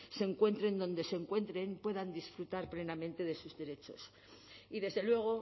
se encuentren donde se encuentren puedan disfrutar plenamente de sus derechos y desde luego